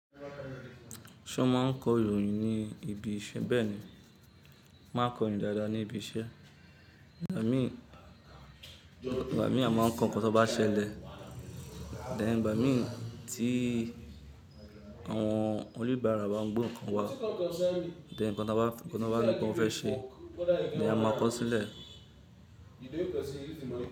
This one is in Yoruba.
Ṣé o máa ń kọ́ ìròyìn ní ibi iṣẹ́? Bẹ́ẹ̀ni, mo máa ń kọ ìròyìn dáadáa ní ibi iṣẹ́. Igba mi ìgbà mìí, a máa ń kọ ǹkan tó bá ṣẹlẹ̀. Then ìgbà mìí tí àwọn oníbàárà bá ń gbe ǹkan wa then ǹkan tó bá ní pé wọ́n fẹ́ then a máa kọ sílẹ̀.